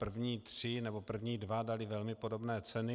První tři nebo první dva dali velmi podobné ceny.